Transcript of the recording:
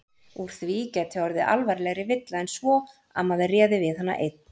Úr því gæti orðið alvarlegri villa en svo að maður réði við hana einn.